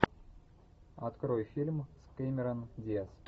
открой фильм с кэмерон диаз